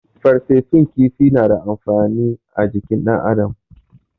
Farfesun kifi na da amfani ajikin dan adam